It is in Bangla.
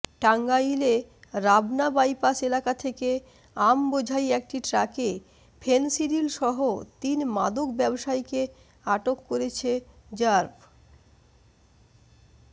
টাঙ্গাইলে রাবনা বাইপাস এলাকা থেকে আমবোঝাই একটি ট্রাকে ফেনসিডিলসহ তিন মাদক ব্যবসায়ীকে আটক করেছে র্যাব